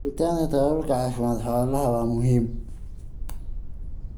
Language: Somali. Helitaanka tababarka caafimaadka xoolaha waa muhiim.